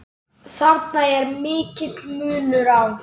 Þarna er mikill munur á.